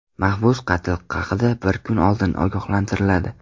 Mahbus qatl haqida bir kun oldin ogohlantiriladi.